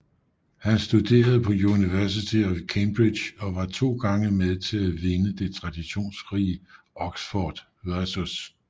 Han studerede på University of Cambridge og var to gange med til at vinde det traditionsrige Oxford vs